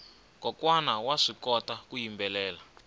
kokwana vaswi kota ku yimbelela